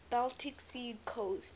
baltic sea coast